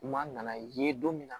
Kuma nana ye don min na